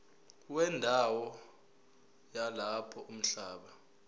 wendawo yalapho umhlaba